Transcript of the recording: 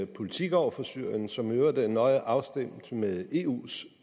politik over for syrien som i øvrigt er nøje afstemt med eus